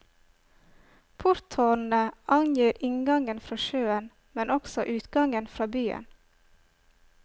Porttårnene angir inngangen fra sjøen, men også utgangen fra byen.